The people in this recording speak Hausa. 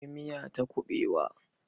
Akwai miya ta kuɓewa.